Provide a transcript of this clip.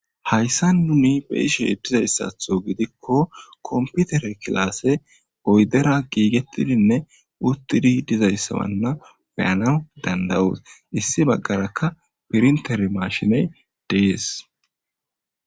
Hayssa duni be ishe dizayssatho gidikko komputere kilaasse poydera giigettidinne uttidi dizayssawanna beyana dandawuus issi baggarakka pirintere mashiney dees.